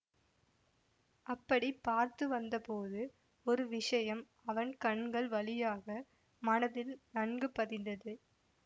அப்படி பார்த்து வந்தபோது ஒரு விஷயம் அவன் கண்கள் வழியாக மனதில் நன்கு பதிந்தது